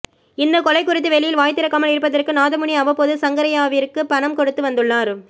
இந்த கொலை குறித்து வெளியில் வாய்திறக்காமல் இருப்பதற்கு நாதமுனி அவ்வப்போது சங்கரையாவிற்கு பணம் கொடுத்து வந்துள்ளார்